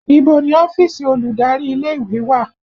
Ibo ni ọ́fíìsì olùdarí ilé ìwé wà?